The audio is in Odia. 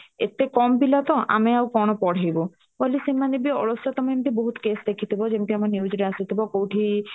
ଏତେ କମ ପିଲା ତ ଆମେ ଆଉ କଣ ପଢେଇ ବୁ ବଧେ ସେମାନେ ବି ଅଳସୁଆ ତମେ ଏମିତି ବି ବହୁତ କେସ ଦେଖିଥିବ ଯେମିତି ଆମ news ରେ ଆସିଥିବା କଉଠି